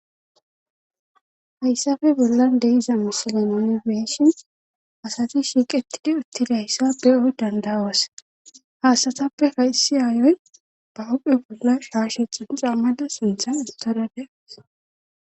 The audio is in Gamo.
Hayssafe bollan deiza misilenonebeshin asati shiiqetidi utti dayssa be'oy dandawas haasatappe faysi aayoy ba huphe bolla shaashexin xammada sinthan istodade.